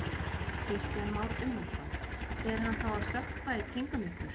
Kristján Már Unnarsson: Fer hann þá að stökkva í kringum ykkur?